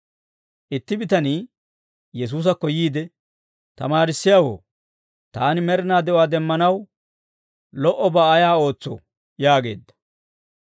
Itti bitanii Yesuusakko yiide, «Tamaarissiyaawoo, taani med'inaa de'uwaa demmanaw lo"obaa ayaa ootsoo?» yaageedda.